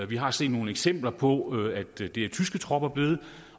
vi har set nogle eksempler på at det er tyske tropper blevet og